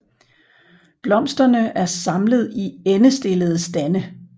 Blomsterne er samlet i endestillede stande